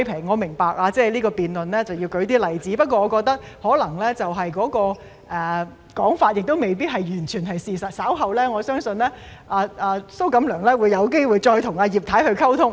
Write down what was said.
我明白為了辯論要舉出例子，不過我覺得那種說法可能未必完全是事實，我相信蘇局長稍後有機會再與葉太溝通。